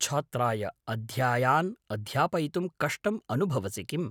छात्राय अध्यायान् अध्यापयितुं कष्टम् अनुभवसिकिम्?